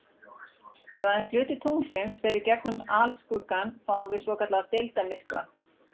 Ef aðeins hluti tunglsins fer í gegnum alskuggann fáum við svokallaðan deildarmyrkva.